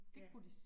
Ja